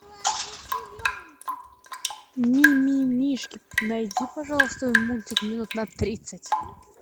мимимишки найди пожалуйста мультик минут на тридцать